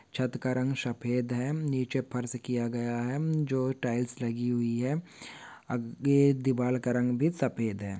छत का रंग सफ़ेद है नीचे फर्ज़ किया गया है जो टाइल्स लगी हुई है आगे दीवाल का रंग भी सफ़ेद है।